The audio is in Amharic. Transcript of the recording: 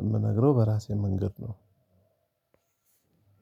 የምነግረው በራሴ መንገድ ነው።